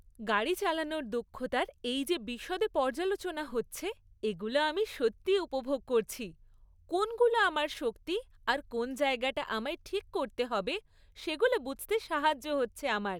গাড়ি চালানোর দক্ষতার এই যে বিশদে পর্যালোচনা হচ্ছে, এগুলো আমি সত্যি উপভোগ করছি; কোনগুলো আমার শক্তি আর কোন জায়গাটা আমায় ঠিক করতে হবে সেগুলো বুঝতে সাহায্য হচ্ছে আমার।